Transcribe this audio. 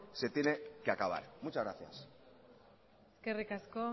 se tiene que acabar muchas gracias eskerrik asko